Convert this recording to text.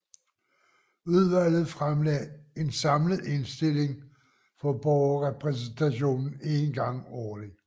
Udvalget fremlagde en samlet indstilling for Borgerrepræsentationen én gang årligt